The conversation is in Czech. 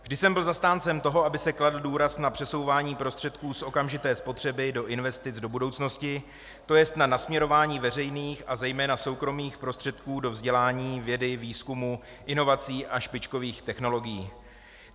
Vždy jsem byl zastáncem toho, aby se kladl důraz na přesouvání prostředků z okamžité spotřeby do investic do budoucnosti, to jest na nasměrování veřejných a zejména soukromých prostředků do vzdělání, vědy, výzkumu, inovací a špičkových technologií.